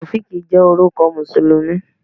Taofiq jẹ́ orúkọ Mùsùlùmí.